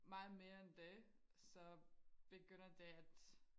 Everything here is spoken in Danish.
meget mere end det så begynder det at